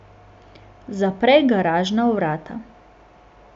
Zapre garažna vrata.